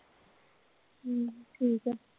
ਹਾਂ ਠੀਕ ਐ।